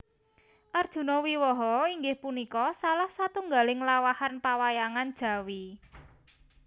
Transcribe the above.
Arjuna Wiwaha inggih punika salah satunggaling lampahan pawayangan Jawi